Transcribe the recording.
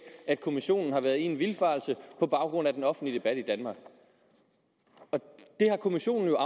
at kommissionen har været i en vildfarelse på baggrund af den offentlige debat i danmark det har kommissionen jo